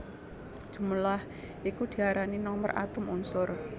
Jumlah iku diarani nomer atom unsur